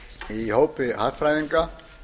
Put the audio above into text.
í hópi andstæðinga